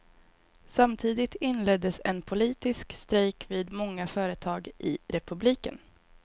Samtidigt inleddes en politisk strejk vid många företag i republiken.